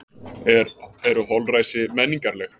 Eru holræsi menningarleg?